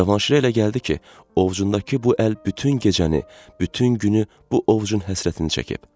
Cavanşirə elə gəldi ki, ovcundakı bu əl bütün gecəni, bütün günü bu ovcun həsrətini çəkib.